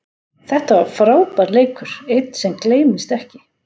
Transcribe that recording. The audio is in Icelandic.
Þetta var frábær leikur, einn sem gleymist ekki.